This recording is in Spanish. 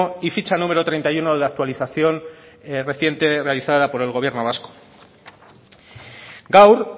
y ficha número treinta y uno de la actualización reciente realizada por el gobierno vasco gaur